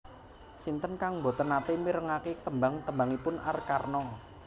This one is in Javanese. Sinten kang mboten nate mirengake tembang tembangipun Arkarna?